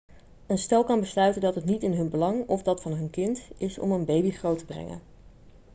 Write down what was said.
een stel kan besluiten dat het niet in hun belang of dat van hun kind is om een baby groot te brengen